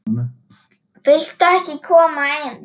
Viltu ekki koma inn?